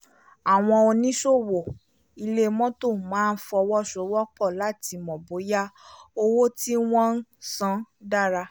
àwọn oníṣòwò ilẹ̀ mọ́tò máa ń fọwọ́sowọpọ̀ láti mọ bóyá owó tí wọ́n ń san dára